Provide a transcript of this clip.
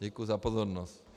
Děkuji za pozornost.